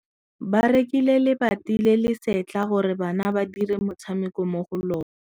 Ba rekile lebati le le setlha gore bana ba dire motshameko mo go lona.